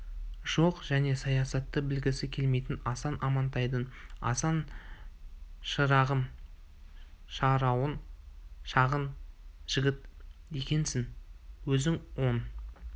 жоқ және саясатты білгісі келмейтін асан амантайдың асан шырағым шаруаң шағын жігіт екенсің өзің он